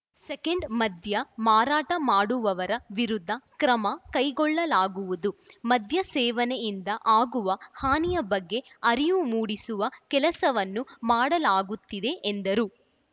second ಮದ್ಯ ಮಾರಾಟ ಮಾಡುವವರ ವಿರುದ್ಧ ಕ್ರಮ ಕೈಗೊಳ್ಳಲಾಗುವುದು ಮದ್ಯ ಸೇವನೆಯಿಂದ ಆಗುವ ಹಾನಿಯ ಬಗ್ಗೆ ಅರಿವು ಮೂಡಿಸುವ ಕೆಲಸವನ್ನು ಮಾಡಲಾಗುತ್ತಿದೆ ಎಂದರು